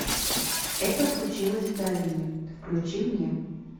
это случилось в долине включи мне